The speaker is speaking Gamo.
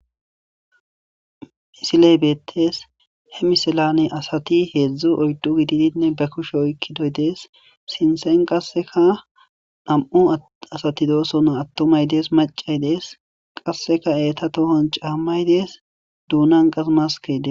Msiley beettes he misilane asati heedzdzo oydu gididinne be kushe oykkidoy dees sinsen qasseka nam'u asati doosona attumay dees macay dees qasseka eeta tohon caammay dees duunan qasmaskeydes.